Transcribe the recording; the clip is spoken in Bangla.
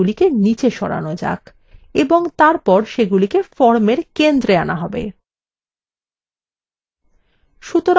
এই জন্য form উপাদানগুলিকে নিচে সরানো যাক এবং তারপর সেগুলি formfor centre আনা যাক